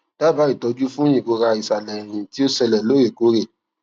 daba itoju fun irora isale eyin ti o sele lorekore